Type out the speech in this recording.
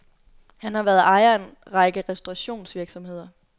Han har været ejer af en række restaurationsvirksomheder.